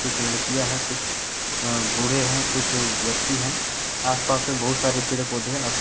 कुछ लड़कियां हैं कुछ अह बूढ़े हैं कुछ व्यक्ति हैं आसपास में बहुत सारे पेड़ पौधे हैं आस--